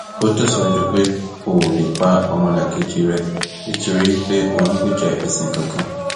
ó tẹsíwájú pé o ò lè pa ọmọlàkejì ẹ nítorí pé ò ń gbèjà ẹsìn kankan